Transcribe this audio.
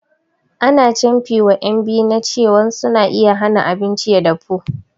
Ana canfi wa ƴan biyu na cewan suna iya hana abinci ya dafu